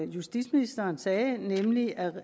justitsministeren sagde nemlig at